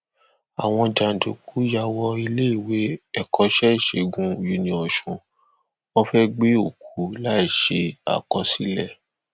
àwọn jàǹdùkú yà wọ iléèwé ẹkọṣẹ ìṣègùn uniosun wọn fẹẹ gbé òkú láì ṣe àkọsílẹ